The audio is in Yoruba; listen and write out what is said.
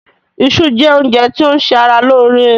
Isu jẹ́ oúnjẹ ti o ń se ara lóóre.